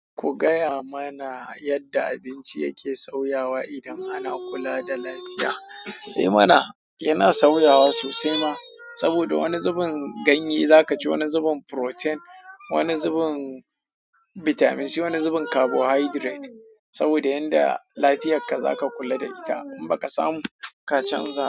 Ku gaya mana yadda abinci yake sauyawa idan ana kula da lafiya. Eh mana, yana sauyawa sosai ma. Saboda wani zubin ganye za ka ci, wani zubin protein, wani zubin bitamin C, wani zubin carbohydrate. Saboda yanda lafiyarka za ka kula da ita in ba ka samu ka canza.